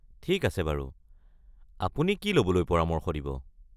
ঠিক আছে বাৰু, আপুনি কি ল’বলৈ পৰামৰ্শ দিব?